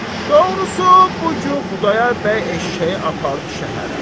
Doğrusu, bu gün Xudayar bəy eşşəyi apardı şəhərə.